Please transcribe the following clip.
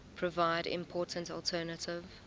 provide important alternative